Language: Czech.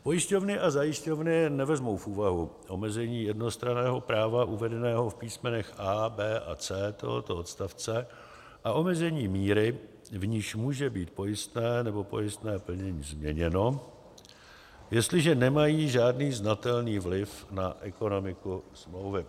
Pojišťovny a zajišťovny nevezmou v úvahu omezení jednostranného práva uvedeného v písmenech a), b) a c) tohoto odstavce a omezení míry, v níž může být pojistné nebo pojistné plnění změněno, jestliže nemají žádný znatelný vliv na ekonomiku smlouvy.